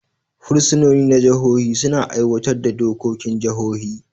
Fursunoni na jihohi suna aiwatar da dokokin jihohi.